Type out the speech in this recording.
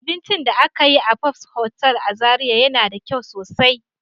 Abincin da aka yi a fabs hotel a zarai yana da kyau sosai.